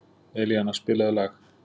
Elíana, spilaðu lag.